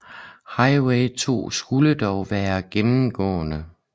Highway 2 skulle dog være gennemgående